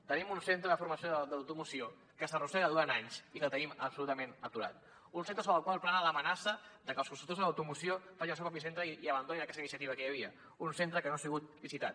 tenim un centre de formació de l’automoció que s’arrossega durant anys i que tenim absolutament aturat un centre sobre el qual plana l’amenaça de que els constructors de l’automoció facin el seu propi centre i abandonin aquesta iniciativa que hi havia un centre que no ha sigut licitat